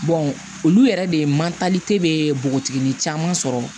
olu yɛrɛ de man npogotiginin caman sɔrɔ